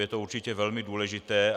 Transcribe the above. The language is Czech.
Je to určitě velmi důležité.